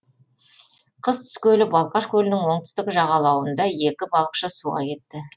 қыс түскелі балқаш көлінің оңтүстік жағалауында екі балықшы суға кетті